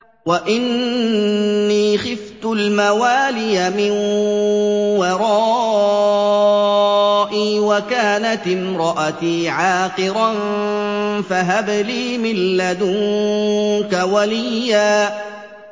وَإِنِّي خِفْتُ الْمَوَالِيَ مِن وَرَائِي وَكَانَتِ امْرَأَتِي عَاقِرًا فَهَبْ لِي مِن لَّدُنكَ وَلِيًّا